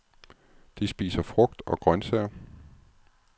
De spiser frugt og grøntsager.